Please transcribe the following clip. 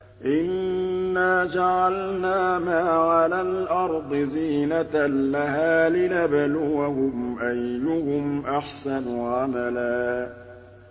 إِنَّا جَعَلْنَا مَا عَلَى الْأَرْضِ زِينَةً لَّهَا لِنَبْلُوَهُمْ أَيُّهُمْ أَحْسَنُ عَمَلًا